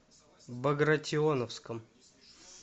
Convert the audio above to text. багратионовском